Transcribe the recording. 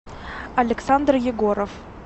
александр егоров